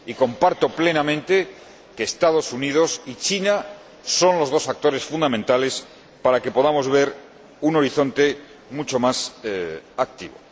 Y comparto plenamente que Estados Unidos y China son los dos actores fundamentales para que podamos ver un horizonte mucho más activo.